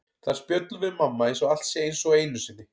Þar spjöllum við mamma eins og allt sé eins og einu sinni.